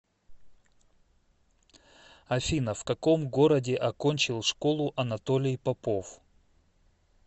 афина в каком городе окончил школу анатолий попов